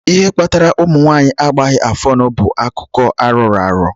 Ihe kpatara ụmụ nwanyị agbaghi afụọnụ bú akụkọ arọrọ arọ.